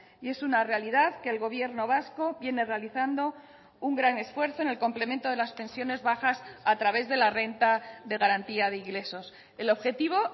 y es una realidad que el gobierno vasco viene realizando un gran esfuerzo en el complemento de las pensiones bajas a través de la renta de garantía de ingresos el objetivo